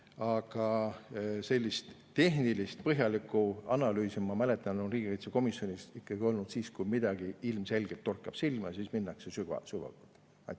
Aga sellist tehnilist põhjalikku analüüsi, ma mäletan, on riigikaitsekomisjonis ikkagi olnud siis, kui midagi ilmselgelt on silma torganud, siis minnakse sügavuti.